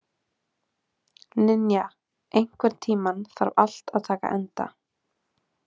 Ninja, einhvern tímann þarf allt að taka enda.